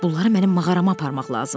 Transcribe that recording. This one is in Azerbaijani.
Bunları mənim mağarama aparmaq lazımdır.